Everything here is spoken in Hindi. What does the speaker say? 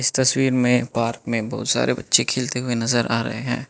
तस्वीर में पार्क में बहुत सारे बच्चे खेलते हुए नजर आ रहे हैं।